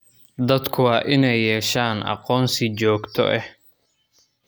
Dadku waa inay yeeshaan aqoonsi joogto ah.